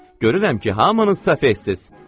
Görürəm ki, hamınız səfehsiz.